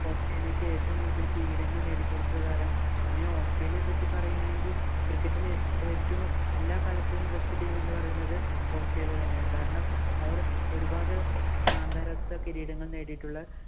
ഓസ്ട്രേലിയക്ക് ഏറ്റവും കൂടുതല്‍ കിരീടങ്ങള്‍ നേടി കൊടുത്ത താരം. പിന്നെ ഓസ്ട്രേലിയയെ പറ്റി പറയുകയാണെങ്കില്‍ cricket ഇലെ ഏറ്റവും എല്ലാ കാലത്തെയും best team എന്ന് പറയുന്നത് ഓസ്ട്രേലിയ തന്നെയാണ്. കാരണം അവര്‍ ഒരുപാട് അന്താരാഷ്ട്ര കിരീടങ്ങള്‍ നേടിയിട്ടുള്ള